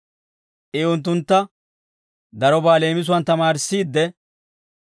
I unttuntta darobaa leemisuwaan tamaarissiidde,